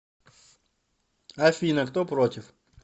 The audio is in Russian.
афина кто против